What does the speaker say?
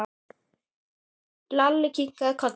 Lalli kinkaði kolli.